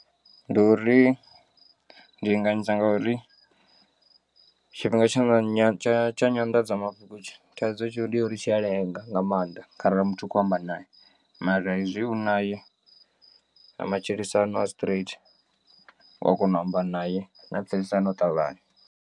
Ndi uri ndi linganyisa ngauri tshifhinga tsha nga tsha tsha nyanḓadzamafhungo tshi thaidzo ndi ya uri tshi a lenga nga maanḓa kharali muthu u kho amba naye mara hezwi u naye na matshilisano a straight uya kona u amba naye na pfesesana u ṱavhanya.